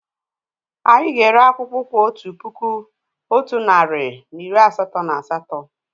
Anyị ga-ere akpùkwú otu puku, otu narị na iri asatọ na asatọ